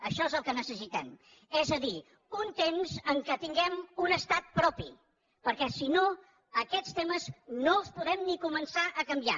això és el que necessitem és a dir un temps en què tinguem un estat propi perquè si no aquests temes no els podrem ni començar a canviar